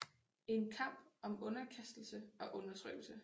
En kamp om underkastelse og undertrykkelse